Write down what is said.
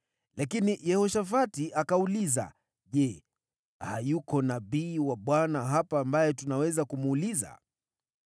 Lakini Yehoshafati akauliza, “Je, hayuko nabii wa Bwana hapa ambaye tunaweza kumuuliza?”